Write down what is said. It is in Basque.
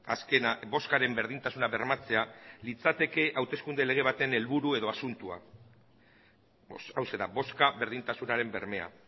azkena bozkaren berdintasuna bermatzea litzateke hauteskunde lege baten helburu edo asuntoa hauxe da bozka berdintasunaren bermea